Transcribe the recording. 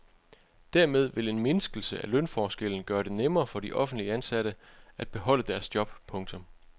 Dermed vil en mindskelse af lønforskellen gøre det nemmere for de offentligt ansatte at beholde deres job. punktum